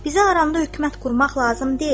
Bizə arada hökümət qurmaq lazım deyil.